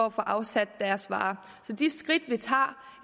at få afsat deres varer så de skridt vi tager tager